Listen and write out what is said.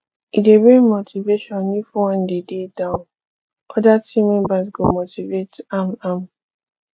e de bring motivation if one de down other team members go motivate am am